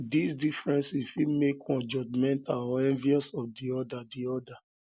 these differences fit make one judgemental or envious of di other di other